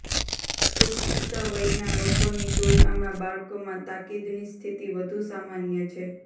પુખ્ત વયના લોકોની તુલનામાં બાળકોમાં તાકીદની સ્થિતિ વધુ સામાન્ય છે